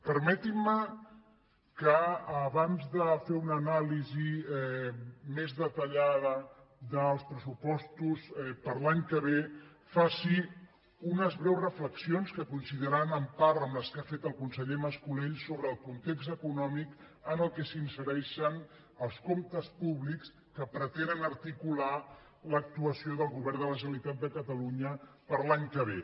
permetin·me que abans de fer una anàlisi més deta·llada dels pressupostos per a l’any que ve faci unes breus reflexions que coincidiran en part amb les que ha fet el conseller mas·colell sobre el context econò·mic en què s’insereixen els comptes públics que pre·tenen articular l’actuació del govern de la generalitat de catalunya per a l’any que ve